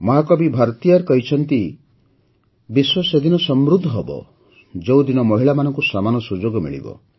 ମହାକବି ଭାରତିୟାର କହିଛନ୍ତି ଯେ ବିଶ୍ୱ ସେଦିନ ସମୃଦ୍ଧ ହେବ ଯେଉଁଦିନ ମହିଳାମାନଙ୍କୁ ସମାନ ସୁଯୋଗ ମିଳିବ